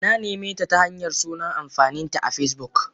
Nanimeta ta Hanyar sunan amfaninta a Facebook.